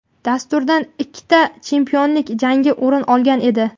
Dasturdan ikkita chempionlik jangi o‘rin olgan edi.